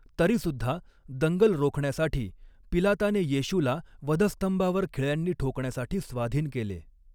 तरीसुद्धा, दंगल रोखण्यासाठी पिलाताने येशूला वधस्तंभावर खिळयांनी ठोकण्यासाठी स्वाधीन केले.